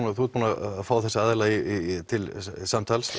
og þú ert búin að fá þessa aðila til samtals